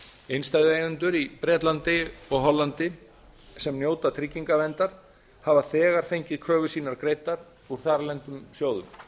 innstæðueigendur í bretlandi og hollandi sem njóta tryggingaverndar hafa þegar fengið kröfur sínar greiddar úr þarlendum sjóðum